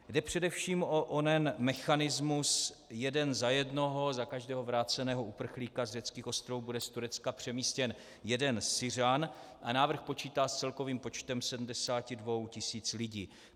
Jde především o onen mechanismus jeden za jednoho - za každého vráceného uprchlíka z řeckých ostrovů bude z Turecka přemístěn jeden Syřan a návrh počítá s celkovým počtem 72 tisíc lidí.